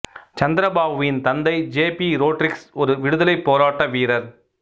சந்திரபாபுவின் தந்தை ஜெ பி ரோட்ரிக்ஸ் ஒரு விடுதலைப் போராட்ட வீரர்